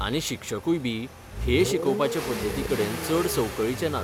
आनी शिक्षकूय बी हे शिकोवपाचे पद्दतीकडेन चड संवकळीचे नात.